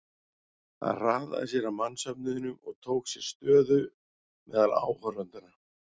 Hann hraðaði sér að mannsöfnuðinum og tók sér stöðu meðal áhorfendanna.